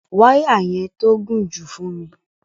Wàya yẹn tó gún ju fún mi.